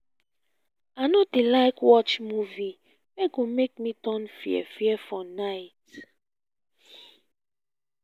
i no dey like watch movies wey go make me turn fear-fear for night.